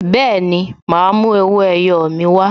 Bẹẹni, ma a mú owó ẹyọ mi wa